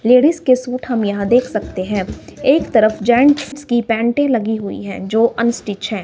Ladies के suit हम यहां देख सकते हैं एक तरफ जेंट्स की पैंटे लगी हुई है जो अनस्टिच्ड है।